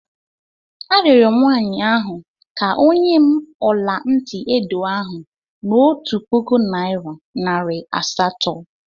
Arịọrọ m nwaanyị ahụ ka o nye m ọla ntị edo ahụ n'otu puku naịra nari asatọ.